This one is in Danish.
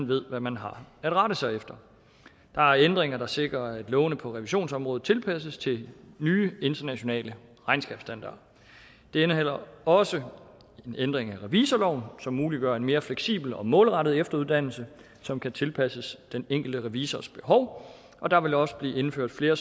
ved hvad man har at rette sig efter der er ændringer der sikrer at lovene på revisionsområdet tilpasses til nye internationale regnskabsstandarder det indeholder også en ændring af revisorloven som muliggør en mere fleksibel og målrettet efteruddannelse som kan tilpasses den enkelte revisors behov og der vil også blive indført flere